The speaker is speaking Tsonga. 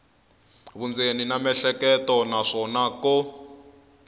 vundzeni na miehleketo naswona ko